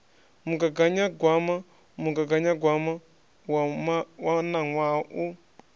mugaganyagwama mugaganyagwama wa ṋaṅwaha u